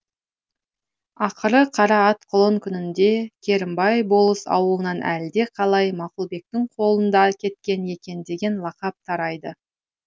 ақыры қара ат құлын күнінде керімбай болыс ауылынан әлдеқалай мақұлбектің қолында кеткен екен деген лақап тарайды